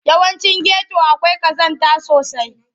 Yawancin geto akwai ƙazanta sosai.